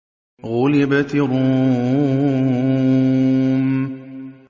غُلِبَتِ الرُّومُ